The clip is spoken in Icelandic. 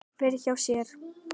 Fer hjá sér.